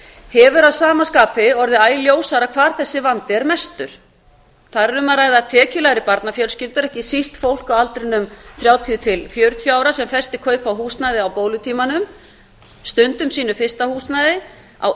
hefur að sama skapi orðið æ ljósara hvar þessi vandi er mestur þar er um að ræða tekjulægri barnafjölskyldur ekki síst fólk á aldrinum þrjátíu til fjörutíu ára sem festir kaup á húsnæði á bólutímanum stundum sínu fyrsta húsnæði á